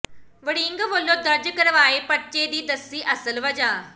ਵੜਿੰਗ ਵਲੋਂ ਦਰਜ ਕਰਵਾਏ ਪਰਚੇ ਦੀ ਦੱਸੀ ਅਸਲ ਵਜ੍ਹਾ